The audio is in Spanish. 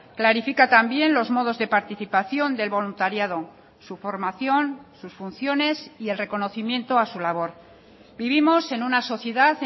clarifica también los modos de participación del voluntariado su formación sus funciones y el reconocimiento a su labor vivimos en una sociedad